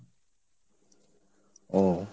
ও।